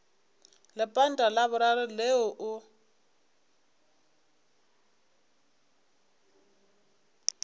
lepanta la boraro leo o